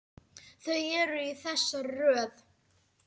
Þau eru í þessari röð: